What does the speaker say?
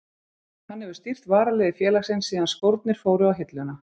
Hann hefur stýrt varaliði félagsins síðan skórnir fóru á hilluna.